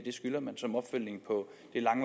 skylder man som opfølgning på